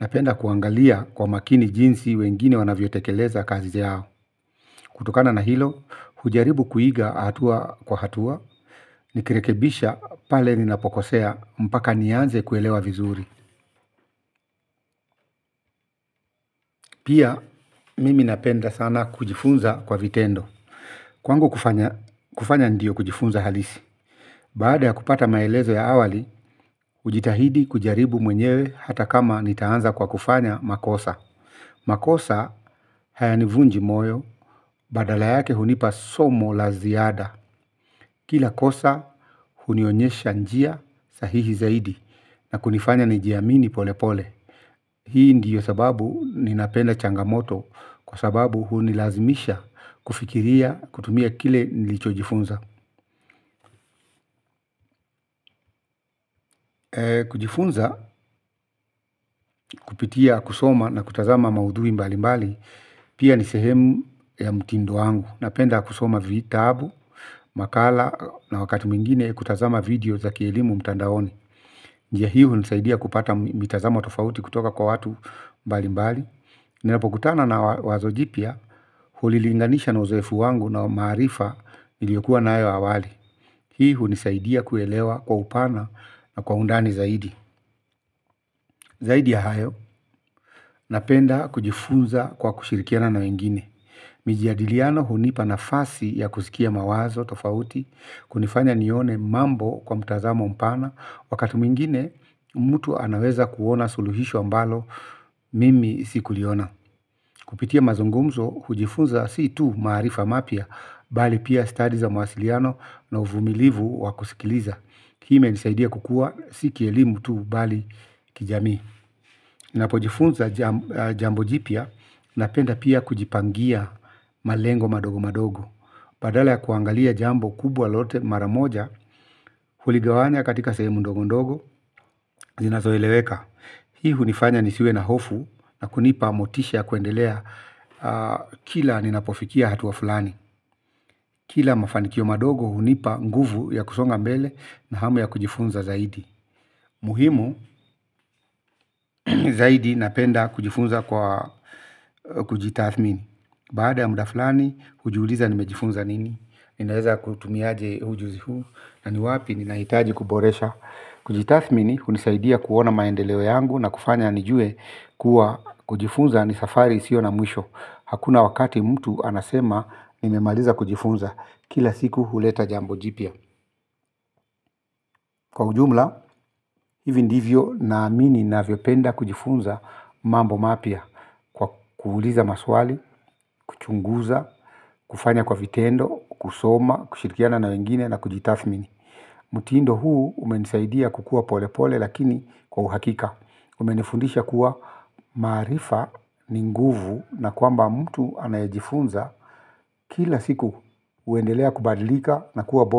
Napenda kuangalia kwa makini jinsi wengine wanavyo tekeleza kazi zao. Kutokana na hilo, hujaribu kuiga atua kwa hatua. Ni kirekebisha pale ninapokosea mpaka nianze kuelewa vizuri. Pia mimi napenda sana kujifunza kwa vitendo. Kwangu kufanya ndio kujifunza halisi. Baada ya kupata maelezo ya awali hujitahidi kujaribu mwenyewe hata kama nitaanza kwa kufanya makosa. Makosa hayanivunji moyo badala yake hunipa somo laziada. Kila kosa hunionyesha njia sahihi zaidi na kunifanya nijiamini pole pole. Hii ndiyo sababu ninapenda changamoto kwa sababu huu nilazimisha kufikiria kutumia kile nilichojifunza. Kujifunza kupitia kusoma na kutazama maudui mbali mbali pia ni sehemu ya mtindo wangu. Napenda kusoma vitabu, makala na wakati mingine kutazama video za kielimu mtandaoni. Njia hii hunisaidia kupata mitazamo tofauti kutoka kwa watu mbali mbali. Ninapokutana na wazo jipya hulilinganisha na uzoefu wangu na maarifa niliyokuwa nayo awali. Hii hunisaidia kuelewa kwa upana na kwa undani zaidi. Zaidi ya hayo napenda kujifunza kwa kushirikiana na wengine. Mijiadiliano hunipa nafasi ya kusikia mawazo tofauti kunifanya nione mambo kwa mtazamo mpana. Wakati mingine mtu anaweza kuona suluhisho ambalo mimi sikuliona. Kupitia mazungumzo, hujifunza si tu maarifa mapia, bali pia stadi za mwasiliano na uvumilivu wakusikiliza. Hii ime nisaidia kukua, si kielimu tu bali kijamii. Napojifunza jambo jipya, napenda pia kujipangia malengo madogo madogo. Badala ya kuangalia jambo kubwa lote maramoja, huligawanya katika sehemu ndogo ndogo, zinazoeleweka. Hii hunifanya nisiwe na hofu na kunipa motisha kuendelea kila ninapofikia hatua fulani. Kila mafanikio madogo hunipa nguvu ya kusonga mbele na hamu ya kujifunza zaidi. Muhimu zaidi napenda kujifunza kwa kujitathmini. Baada ya muda flani hujiuliza nimejifunza nini. Ninaeza kutumia aje ujuzi huu na ni wapi ni nahitaji kuboresha. Kujitathmini hunisaidia kuona maendeleo yangu na kufanya nijue kuwa kujifunza ni safari sio na mwisho. Hakuna wakati mtu anasema nimemaliza kujifunza kila siku huleta jambo jipya. Kwa ujumla, hivi ndivyo na amini navyopenda kujifunza mambo mapya. Kwa kuuliza maswali, kuchunguza, kufanya kwa vitendo, kusoma, kushirikiana na wengine na kujitathmini. Mtindo huu umenisaidia kukua pole pole lakini kwa uhakika. Umenifundisha kuwa maarifa ni nguvu na kwamba mtu anaejifunza kila siku uendelea kubadilika na kuwa bora.